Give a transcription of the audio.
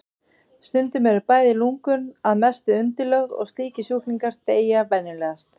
Stundum eru bæði lungun að mestu undirlögð og slíkir sjúklingar deyja venjulegast.